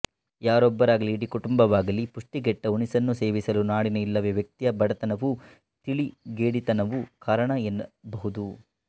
ಯಾರೊಬ್ಬರಾಗಲಿ ಇಡೀ ಕುಟುಂಬವಾಗಲಿ ಪುಷ್ಟಿಗೆಟ್ಟ ಉಣಿಸನ್ನು ಸೇವಿಸಲು ನಾಡಿನ ಇಲ್ಲವೇ ವ್ಯಕ್ತಿಯ ಬಡತನವೂ ತಿಳಿಗೇಡಿತನವೂ ಕಾರಣ ಎನ್ನಬಹುದು